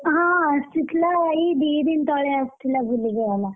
ହଁ ଆସିଥିଲା ଏଇ ଦି ଦିନ ତଳେ ଆସିଥିଲା ବୁଲିକି ଗଲା,